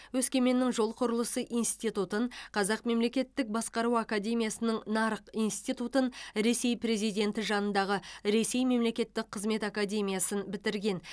өскеменнің жол құрылысы институтын қазақ мемлекеттік басқару академиясының нарық институтын ресей президенті жанындағы ресей мемлекеттік қызмет академиясын бітірген